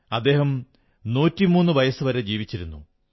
അദ്ദേഹം 103 വയസ്സു വരെ ജീവിച്ചിരുന്നു